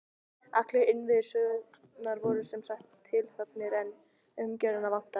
Allir innviðir sögunnar voru sem sagt tilhöggnir, en umgjörðina vantaði.